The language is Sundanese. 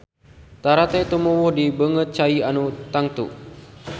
Tarate tumuwuh di beungeut cai anu tenang.